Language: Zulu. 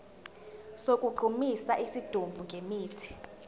sokugqumisa isidumbu ngemithi